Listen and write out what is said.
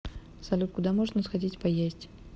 салют куда можно сходить поесть